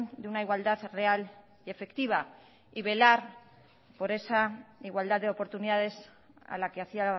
de una igualdad real y efectiva y velar por esa igualdad de oportunidades a la que hacía